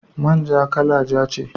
Man ja, kala ja ne